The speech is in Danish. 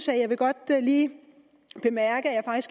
jeg vil godt lige bemærke at jeg